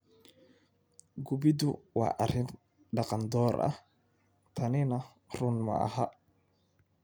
Gubiddu waa arrin dhaqan door ah, tanina run maaha.